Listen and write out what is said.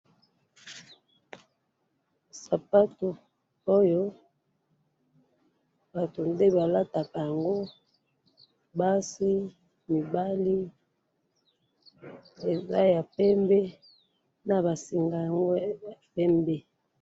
sapatu oyo batu nde balatako angu basi mibale eza ya pemde naba singa ango pembe